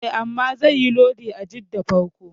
E, amma zaiyi lodi a Jidda farko.